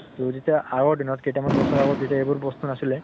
তʼ তেতিয়া আগৰ দিনত কেইটা মান বছৰ আগত যেতিয়া এইবোৰ বস্তু নাছিলে